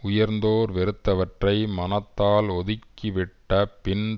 உயர்ந்தோர் வெறுத்தவற்றை மனத்தால் ஒதுக்கிவிட்ட பின்